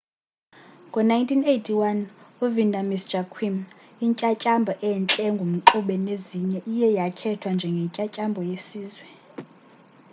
ngo-1981 ivanda miss joaquim intyantyambo entle engumxube nezinye iye yakhethwa njengentyantyambo yesizwe